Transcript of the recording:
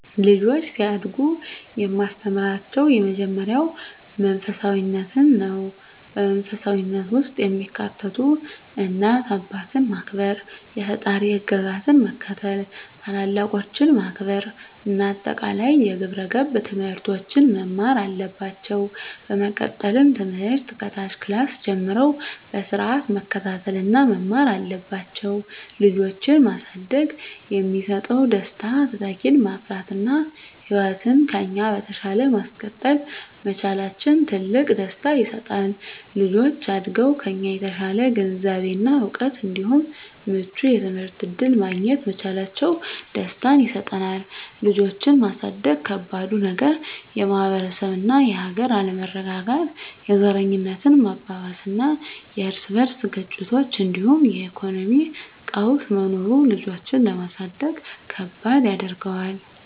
ልጆች ሲያድጉ የማስተምራቸው የመጀመሪያው መንፈሳፊነትን ነው። በመንፈሳዊነት ውስጥ የሚካተቱት እናት አባትን ማክበር፣ የፈጣሪን ህግጋት መከተል፣ ታላላቆችን ማክበር እና አጠቃላይ የግብረ ገብ ትምህርቶችን መማር አለባቸው። በመቀጠልም ትምህርት ከታች ክላስ ጀምረው በስርአት መከታተል እና መማር አለባቸው። ልጆችን ማሳደግ የሚሰጠው ደስታ:- - ተተኪን ማፍራት እና ህይወትን ከኛ በተሻለ ማስቀጠል መቻላችን ትልቅ ደስታ ይሰጣል። - ልጆች አድገው ከኛ የተሻለ ግንዛቤ እና እውቀት እንዲሁም ምቹ የትምህርት እድል ማግኘት መቻላቸው ደስታን ይሰጠናል። ልጆችን ማሳደግ ከባዱ ነገር:- - የማህበረሰብ እና የሀገር አለመረጋጋት፣ የዘረኝነት መባባስና የርስ በርስ ግጭቶች እንዲሁም የኢኮኖሚ ቀውስ መኖሩ ልጆችን ለማሳደግ ከባድ ያደርገዋል።